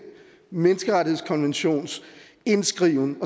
menneskerettighedskonventions indskriven